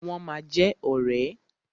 Wọ́n ma jẹ ọ̀rẹ́.